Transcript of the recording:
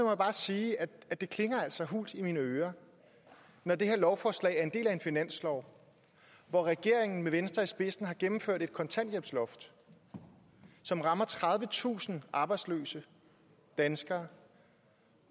jeg bare sige at det klinger hult i mine ører når det her lovforslag er en del af en finanslov hvor regeringen med venstre i spidsen har indført et kontanthjælpsloft som rammer tredivetusind arbejdsløse danskere